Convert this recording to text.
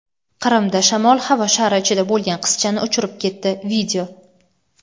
Qrimda shamol havo shari ichida bo‘lgan qizchani uchirib ketdi.